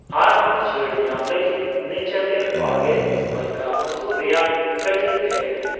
ᱟᱨ ᱦᱚᱸ ᱪᱷᱟᱹᱲ ᱧᱟᱢ ᱞᱟᱹᱜᱤᱛ ᱱᱮᱪᱟᱨᱞᱮᱱᱰ ᱚᱨᱜᱮᱱᱤᱠᱥ ᱢᱟᱞᱠᱟ ᱢᱟᱥᱩᱨ ᱨᱮᱭᱟᱜ ᱠᱟᱴᱤᱪ ᱰᱷᱮᱨ ᱢᱮ ᱾